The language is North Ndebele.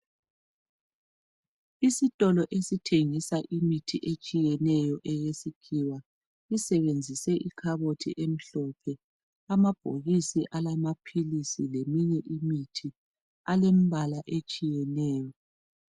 Isitolo esithengisa imithi etshiyeneyo yesikhiwa isebenzise ikhabothi emhlophe amabhokisi a lamaphilisi leminye imithi alembala etshiyeneyo.